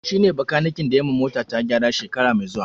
Shi ne bakaniken da yayi ma mota ta gyara shekara mai zuwa